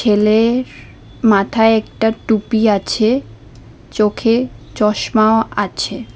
এলের মাথায় একটা টুপি আছে চোখে চশমাও আছে।